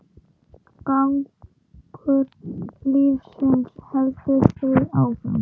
Gangur lífsins heldur því áfram.